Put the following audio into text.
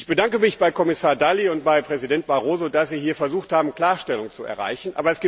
Ich bedanke mich bei Kommissar Dalli und bei Präsident Barroso dafür, dass sie versucht haben, hier Klarstellung zu erreichen.